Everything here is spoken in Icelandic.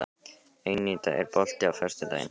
Eníta, er bolti á föstudaginn?